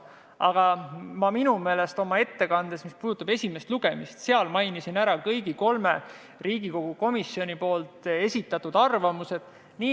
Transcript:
Aga esimesel lugemisel tehtud ettekandes mainisin ma enda meelest ära kõigi kolme Riigikogu komisjoni esitatud arvamused.